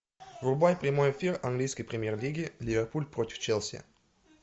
врубай прямой эфир английской премьер лиги ливерпуль против челси